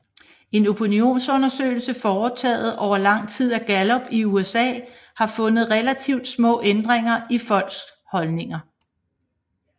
En opinionsundersøgelse foretaget over lang tid af Gallup i USA har fundet relativt små ændringer i folks holdninger